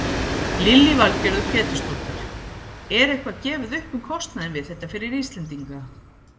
Lillý Valgerður Pétursdóttir: Er eitthvað gefið upp um kostnaðinn við þetta fyrir Íslendinga?